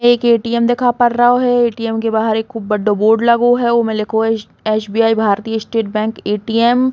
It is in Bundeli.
एक ए.टी.एम. दिखा पर रओ है। ए.टी.एम. के बाहर एक खूब बड्डो बोर्ड लगो है उ में लिखो है एस.बी.आई. भारतीय स्टेट बैंक ए.टी.एम. ।